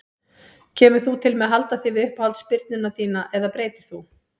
Kemur þú til með að halda þig við uppáhalds spyrnuna þína eða breytir þú?